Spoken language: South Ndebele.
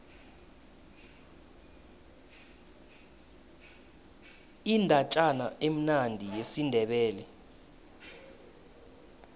indatjana emnandi yesindebele